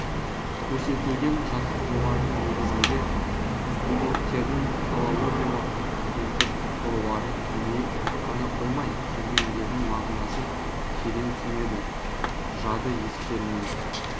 көрсетілген жаттығулардың негізінде студенттердің филологиялық сөздік қорларын кеңейіп қана қоймай терминдердің мағынасын терең түсінеді жады естеріне